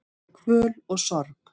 Kvöl og sorg